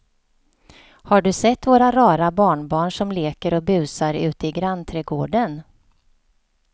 Har du sett våra rara barnbarn som leker och busar ute i grannträdgården!